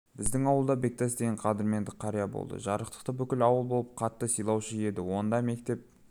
біздің ауылда бектас деген қадірменді қария болды жарықтықты бүкіл ауыл болып қатты сыйлаушы еді онда мектеп